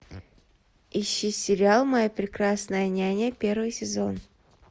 ищи сериал моя прекрасная няня первый сезон